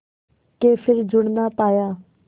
के फिर जुड़ ना पाया